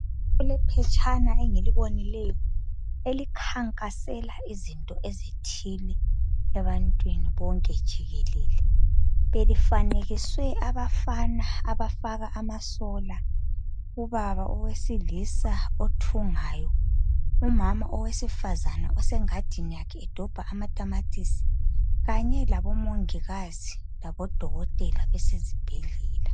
Kulephetshana engilibonileyo elikhankasela izinto ezithile ebantwini bonke jikelele, belifanekiswe abafana abafaka amasola ubaba owesilisa othungayo, umama owesifazana osengadini yakhe edobha amatamatisi, kanye labo mongikazi labo dokotela besezibhedlela.